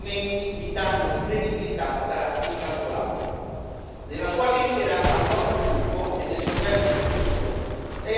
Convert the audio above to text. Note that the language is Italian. Nella Sua lettera al nostro gruppo e nel Suo bel discorso, Lei ha risposto positivamente a molte delle nostre richieste.